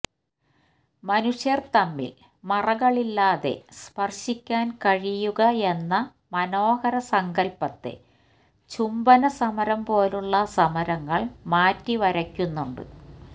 മനുഷ്യര് തമ്മില് മറകളില്ലാതെ സ്പര്ശിക്കന് കഴിയുകയെന്ന മനോഹര സങ്കല്പ്പത്തെ ചുംബന സമരം പോലുള്ള സമരങ്ങള് മാറ്റിവരക്കുന്നുണ്ട്